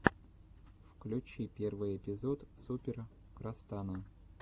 включи первый эпизод супер крастана